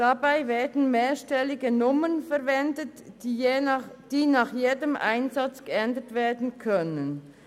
Dabei werden mehrstellige Nummern verwendet, die nach jedem Einsatz geändert werden können.